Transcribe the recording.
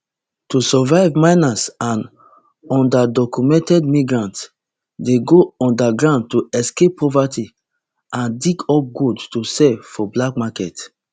to survive miners and undocumented migrants dey go underground to escape poverty and dig up gold to sell for black market